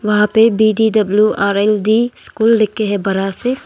वहां पे B D W R L D school लिख के है बड़ा से।